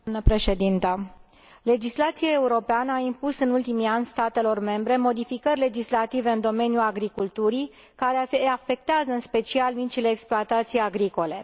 Mulțumesc, doamnă președintă. Legislația europeană a impus în ultimii ani statelor membre modificări legislative în domeniul agriculturii care afectează în special micile exploatații agricole.